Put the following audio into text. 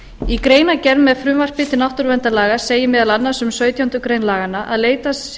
í greinargerð með frumvarpi til náttúruverndarlaga segir meðal annars um sautjándu grein laganna að leitast